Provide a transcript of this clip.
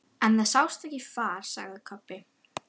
En það sást ekkert far, sagði Kobbi.